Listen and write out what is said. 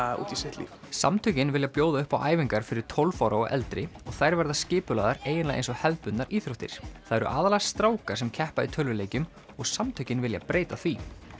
út í sitt líf samtökin vilja bjóða upp á æfingar fyrir tólf ára og eldri og þær verða skipulagðar eiginlega eins og hefðbundnar íþróttir það eru aðallega strákar sem keppa í tölvuleikjum og samtökin vilja breyta því